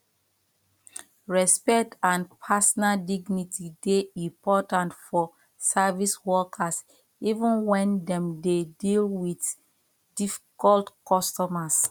respect and personal dignity dey important for service workers even when dem dey deal with difficult customers